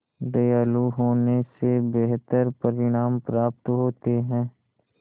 दयालु होने से बेहतर परिणाम प्राप्त होते हैं